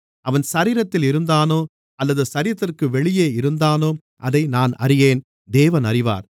அவன் சரீரத்தில் இருந்தானோ அல்லது சரீரத்திற்கு வெளியே இருந்தானோ அதை நான் அறியேன் தேவன் அறிவார்